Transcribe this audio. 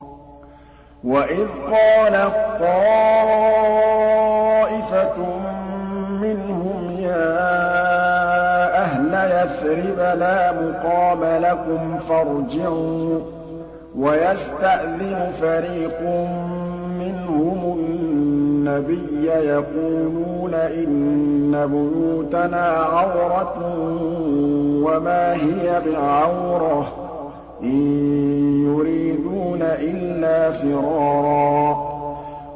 وَإِذْ قَالَت طَّائِفَةٌ مِّنْهُمْ يَا أَهْلَ يَثْرِبَ لَا مُقَامَ لَكُمْ فَارْجِعُوا ۚ وَيَسْتَأْذِنُ فَرِيقٌ مِّنْهُمُ النَّبِيَّ يَقُولُونَ إِنَّ بُيُوتَنَا عَوْرَةٌ وَمَا هِيَ بِعَوْرَةٍ ۖ إِن يُرِيدُونَ إِلَّا فِرَارًا